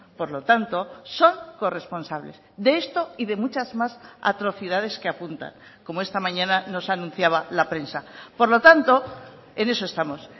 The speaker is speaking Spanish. por lo tanto son corresponsables de esto y de muchas más atrocidades que apuntan como esta mañana nos anunciaba la prensa por lo tanto en eso estamos